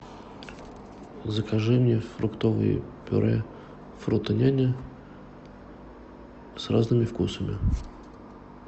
закажи мне фруктовое пюре фрутоняня с разными вкусами